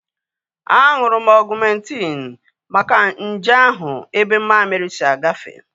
Aṅụrụ m Ọgumentin maka nje ahụ ebe mammiri si agafe